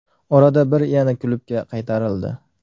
Orada bir yana klubga qaytarildi.